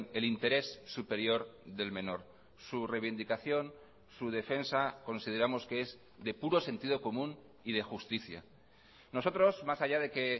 el interés superior del menor su reivindicación su defensa consideramos que es de puro sentido común y de justicia nosotros más allá de que